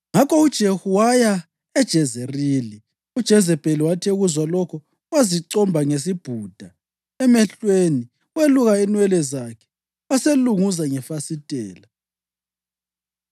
Ngakho uJehu waya eJezerili. UJezebheli wathi ekuzwa lokho, wazicomba ngesibhuda emehlweni weluka inwele zakhe waselunguza ngefasitela.